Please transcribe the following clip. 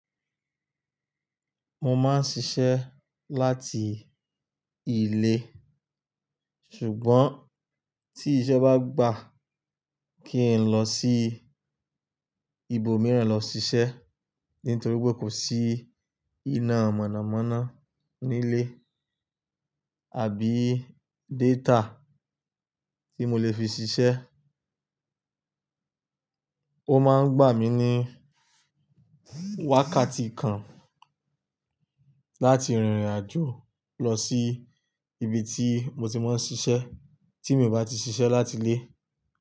Mo máa ń ṣiṣẹ́ láti ilé, ṣùgbọ́n tí iṣẹ́ bá gbà kí n lọ sí ibòmíràn lọ ṣiṣẹ́ nítorí pé kò sí iná mọ̀nàmọ́ná nílé àbí data tí mo lè fi ṣiṣẹ́. Ó máa ń gbà mí ní wákàtí kan láti rìnrìn àjò lọ sí ibi tí mo ti máa ń ṣiṣẹ́ tí mi ò bá ti ṣiṣẹ́ láti ilé.